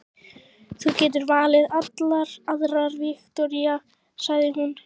Þú getur valið allar aðrar, Viktoría, sagði hún.